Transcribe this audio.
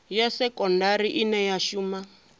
ya sekondari ine ya shuma